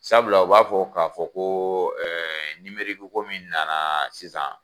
Sabula u b'a fɔ k'a fɔ ko ko min nana sisan